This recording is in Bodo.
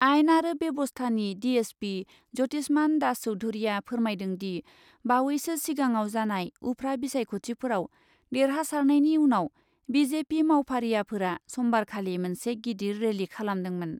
आइन आरो बेब'स्थानि डिएसपि ज्यतिसमान दास चौधुरीआ फोरमायदोंदि , बावैसो सिगाङाव जानाय उफ्रा बिसायख'थिफोराव देरहासारनायनि उनाव बिजेपि मावफारियाफोरा समबारखालि मोनसे गिदिर रेलि खालामदोंमोन ।